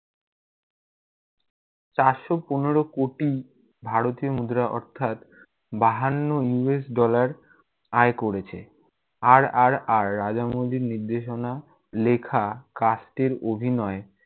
চারশো পনেরো কোটি ভারতীয় মুদ্রা অর্থাৎ বাহান্ন US dollar আয় করেছে RRR রাজামৌলির নির্দেশনা, লেখা, cast এর অভিনয়